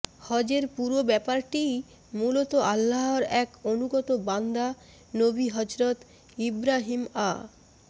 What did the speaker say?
হজের পুরো ব্যাপারটিই মূলত আল্লাহর এক অনুগত বান্দা নবী হজরত ইবরাহীম আ